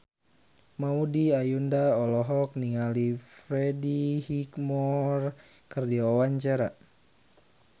Maudy Ayunda olohok ningali Freddie Highmore keur diwawancara